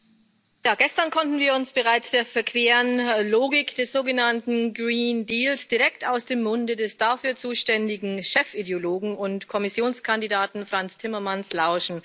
Herr Präsident! Gestern konnten wir bereits der verqueren Logik des sogenannten direkt aus dem Munde des dafür zuständigen Chefideologen und Kommissionskandidaten Frans Timmermans lauschen.